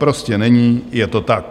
Prostě není, je to tak.